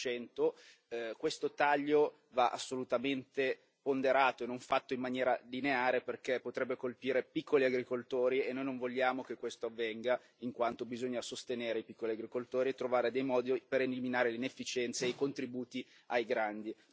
5 Questo taglio va assolutamente ponderato e non fatto in maniera lineare, perché potrebbe colpire i piccoli agricoltori e noi non vogliamo che questo avvenga, in quanto bisogna sostenere i piccoli agricoltori e trovare dei modi per eliminare l'inefficienza e i contributi ai grandi.